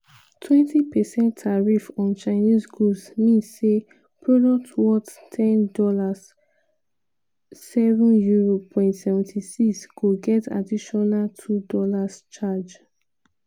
20 percent tariff on chinese goods mean say product worth ten dollars (£7.76) go get additional $2 charge.